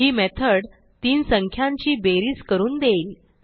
ही method तीन संख्यांची बेरीज करून देईल